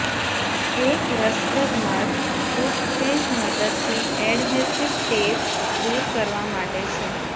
એક રસપ્રદ માર્ગ ટૂથપેસ્ટ મદદથી એડહેસિવ ટેપ દૂર કરવા માટે છે